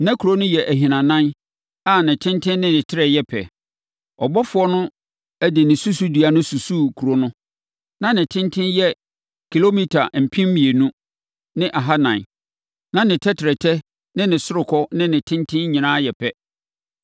Na kuro no yɛ ahinanan a ne tenten ne ne trɛ yɛ pɛ. Ɔbɔfoɔ no de ne susudua no susuu kuro no. Na ne tenten yɛ kilomita mpem mmienu ne ahanan (2,400), na ne tɛtrɛtɛ, ne ɔsorokɔ ne ne tenten nyinaa yɛ pɛ.